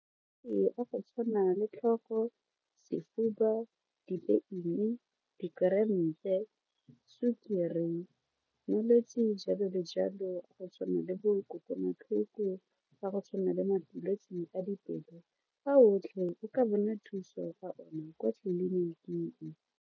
Ee a go tshwana le tlhogo, sefuba, dikrempe, sukiri jalo le jalo go tshwana le bo kokwanatlhoko, a go tshwana le malwetse a dipelo, a otlhe o ka bona thuso ka ona kwa tleliniking.